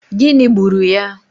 Gịnị gburu ya?